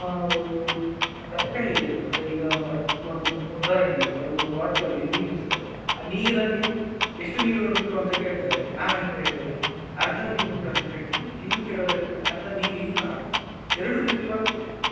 ಒಂದು ತರ್ಕ ಹೇಗಿರ್ತದೆ ಅಂದ್ರೆ ಈಗ for a ಒಂದ್ ಉದಾಹರಣೆಗೆ ಒಂದು bottle ಅಲ್ಲಿ ನೀರು ಇರ್ತದೆ ಆ ನೀರಲ್ಲಿ ಎಷ್ಟು ನೀರು ಉಂಟು ಅಂತ ಕೇಳ್ತಾರೆ ನಾವೆಂತ ಹೇಳ್ತೇವೆ ಅರ್ಧ ನೀರು ಉಂಟು ಅಂತ ಹೇಳ್ತೇವೆ ಇನ್ನು ಕೆಲವರು ಹೇಳ್ತಾರೆ ಅರ್ಧ ನೀರಿಲ್ಲ ಅಂತ ಎರಡು ರೀತಿ ಬರ್ತದೆ.